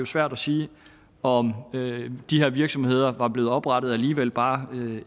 svært at sige om de her virksomheder var blevet oprettet alligevel bare